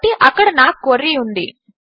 కాబట్టి అక్కడ నా క్వెరీ ఉంది